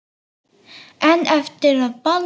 En eftir að Baldur.